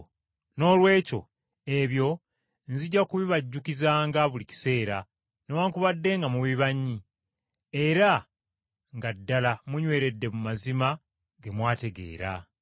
Noolwekyo, ebyo nzija kubibajjukizanga buli kiseera, newaakubadde nga mubimanyi, era nga ddala munyweredde mu mazima ge mwategeera.